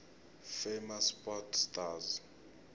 famous sport stars